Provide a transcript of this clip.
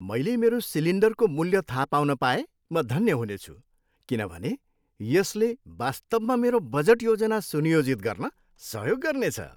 मैले मेरो सिलिन्डरको मूल्य थाहा पाउन पाए म धन्य हुनेछु किनभने यसले वास्तवमा मेरो बजट योजना सुनियोजित गर्न सहयोग गर्नेछ।